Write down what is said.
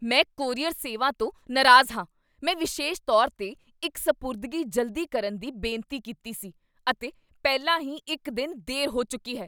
ਮੈਂ ਕੋਰੀਅਰ ਸੇਵਾ ਤੋਂ ਨਾਰਾਜ਼ ਹਾਂ। ਮੈਂ ਵਿਸ਼ੇਸ਼ ਤੌਰ 'ਤੇ ਇੱਕ ਸਪੁਰਦਗੀ ਜਲਦੀ ਕਰਨ ਦੀ ਬੇਨਤੀ ਕੀਤੀ ਸੀ, ਅਤੇ ਪਹਿਲਾਂ ਹੀ ਇੱਕ ਦਿਨ ਦੇਰ ਹੋ ਚੁੱਕੀ ਹੈ!